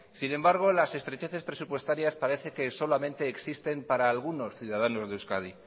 sin embargo las estrecheces presupuestarias parece que solamente existen para algunos ciudadanos de euskadi